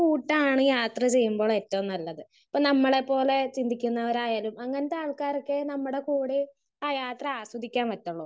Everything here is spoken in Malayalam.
സ്പീക്കർ 1 കൂട്ടാണ് യാത്ര ചെയ്യുമ്പോളേറ്റവും നല്ലത്. ഇപ്പൊ നമ്മളെ പ്പോലെ ചിന്തിക്കുന്നവരായാലും അങ്ങനെത്തെ ആൾക്കാരൊക്കെ നമ്മുടെ കൂടെ ആ യാത്ര ആസ്വദിക്കാൻ പറ്റുള്ളൂ.